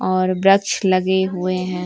और वृक्ष हुए हैं।